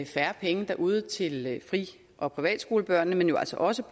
færre penge derude til fri og privatskolebørnene men jo altså også